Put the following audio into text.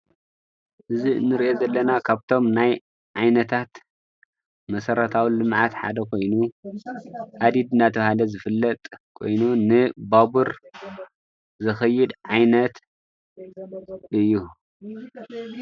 እዚ ንሪኦ ዘለና ካብቶም ናይ ዓይነታት መሰረታዊ ልምዓት ሓደ ኮይኑ ሃዲድ እናተባህለ ዝፍለጥ ኮይኑ ንባቡር ዘኽይድ ዓይነት እዩ።